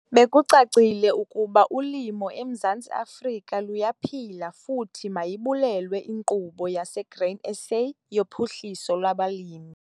Bekucacile ukuba ulimo eMzantsi Afrika luyaphila futhi mayibulelwe iNkqubo yaseGrain SA yoPhuhliso lwabaLimi.